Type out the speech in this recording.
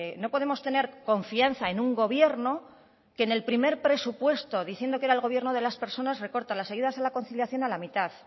no podemos tener confianza en un gobierno que en el primer presupuesto diciendo que era el gobierno de las personas recorta las ayudas a la conciliación a la mitad